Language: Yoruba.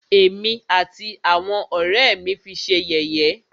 Ẹ̀mí àti àwọn ọ̀rẹ́ ẹ́ mí fi ṣé yẹ̀yẹ́.